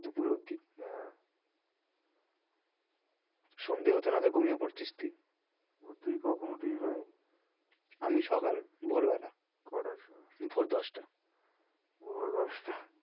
দুপুর অবধি হ্যাঁ সন্ধে হতে না হতেই ঘুমিয়ে পড়ছিস তুই তুই কখন উঠিস ভাই? আমি সকাল ভোর বেলা কটার সময়? ভোর দশটায় ভোর দশটা